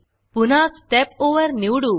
पुन्हा स्टेप Overस्टेप ओवर निवडू